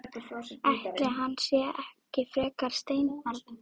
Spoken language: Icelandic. Ætli hann sé ekki frekar steinbarn.